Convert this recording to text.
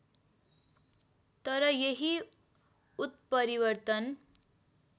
तर यही उत्परिवर्तन